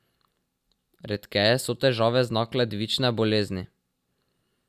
Redkeje so težave znak ledvične bolezni.